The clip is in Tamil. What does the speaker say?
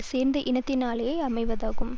சேர்ந்த இனத்தினாலே அமைவதாகும்